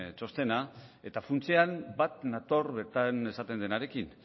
txostena eta funtsean bat nator bertan esaten denarekin